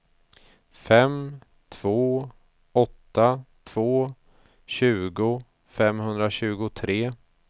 fem två åtta två tjugo femhundratjugotre